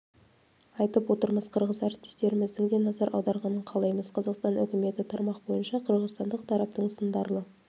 айтып отырмыз қырғыз әріптестеріміздің де назар аударғанын қалаймыз қазақстан үкіметі тармақ бойынша қырғызстандық тараптың сындарлы